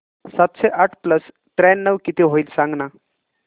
सातशे आठ प्लस त्र्याण्णव किती होईल सांगना